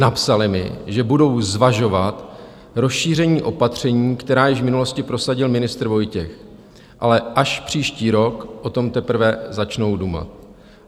Napsali mi, že budou zvažovat rozšíření opatření, která již v minulosti prosadil ministr Vojtěch, ale až příští rok o tom teprve začnou dumat.